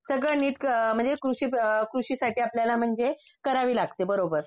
सगळं नीट म्हणजे कृषी कृषीसाठी आपल्याला म्हणजे करावी लागते बरोबर